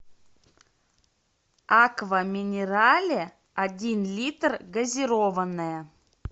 аква минерале один литр газированная